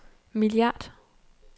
milliard